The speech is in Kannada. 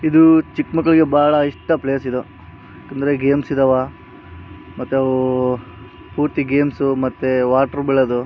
ಇದು ಚಿಕ್ಕ ಮಕ್ಕಳಿಗೆ ಬಹಳ ಇಷ್ಟ ಪ್ಲೇಸ್‌ ಇದು. ಅಂದ್ರೆ ಗೇಮ್ಸ್‌ ಇದಾವ. ಮತ್ತೆ ಅವು ಪೂರ್ತಿ ಗೇಮ್ಸ್ ಮತ್ತೆ ವಾಟರ್‌ ಬೀಳೋದು --